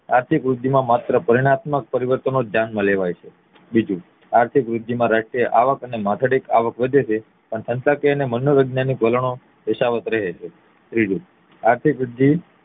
આર્થિક વૃદ્ધિ માં માત્ર પતિનાત્મક પરિવર્તનો જ ધ્યાન માં લેવાય છે બીજું આર્થિક વૃદ્ધિ માં રાષ્ટ્રીય આવક અને માથાદીઠ આવક વધે છે પણ સંસકે અને મનો વૈજ્ઞાનિક વલણો નો યથાવત રહે છે ત્રીજું આર્થિક વૃદ્ધિ